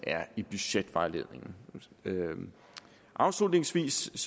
er i budgetvejledningen afslutningsvis